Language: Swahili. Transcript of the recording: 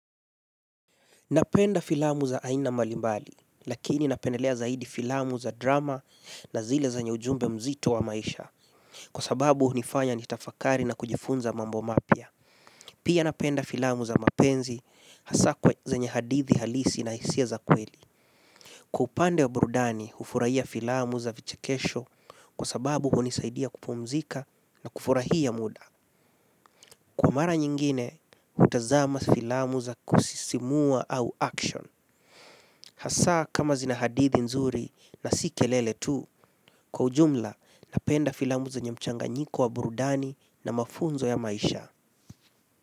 Napenda filamu za aina mbalimbali, lakini napendelea zaidi filamu za drama na zile zenye ujumbe mzito wa maisha. Kwa sababu hunifanya nitafakari na kujifunza mambo mapya. Pia napenda filamu za mapenzi, hasa zenye hadithi halisi na hisia za kweli. Kwa upande wa burudani, hufurahia filamu za vichekesho kwa sababu hunisaidia kupumzika na kufurahia muda. Kwa mara nyingine, hutazama filamu za kusisimua au action. Hasa kama zina hadithi nzuri na si kelele tu, kwa ujumla napenda filamu zenye mchanganyiko wa burudani na mafunzo ya maisha.